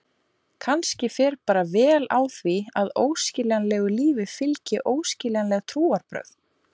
Kannski fer bara vel á því að óskiljanlegu lífi fylgi óskiljanleg trúarbrögð.